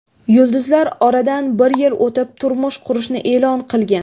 Yulduzlar oradan bir yil o‘tib, turmush qurishini e’lon qilgan.